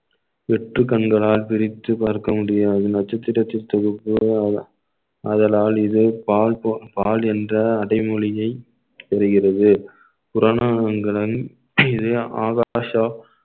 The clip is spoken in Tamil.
வெற்று கண்களால் பிரித்து பார்க்க முடியாது நட்சத்திரத்தின் தொகுப்பு ஆதலால் இது பால் போ~ பால் என்ற அடைமொழியை தெரிகிறது ஆகாஷா